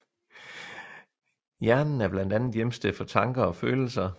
Hjernen er blandt andet hjemsted for tanker og følelser